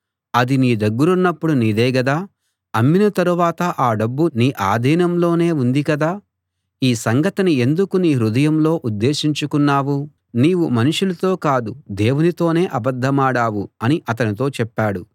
అది నీ దగ్గరున్నపుడు నీదే గదా అమ్మిన తరువాత ఆ డబ్బు నీ ఆధీనంలోనే ఉంది కదా ఈ సంగతిని ఎందుకు నీ హృదయంలో ఉద్దేశించుకున్నావు నీవు మనుషులతో కాదు దేవునితోనే అబద్ధమాడావు అని అతనితో చెప్పాడు